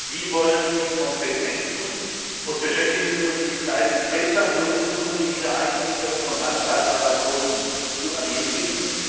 Wie wollen Sie Kompetenzen und Beschäftigungsmöglichkeiten besser nutzen, um die Wiedereingliederung von Langzeitarbeitslosen zu ermöglichen?